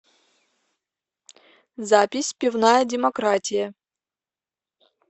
запись пивная демократия